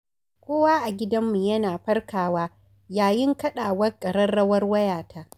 Kowa a gidanmu yana farkawa yayin kaɗawar ƙararrawar wayata.